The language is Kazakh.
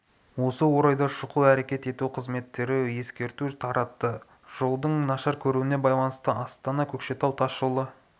осы орайда шұғыл әрекет ету қызметтері ескерту таратты жолдың нашар көрінуіне байланысты астана көкшетау тас жолы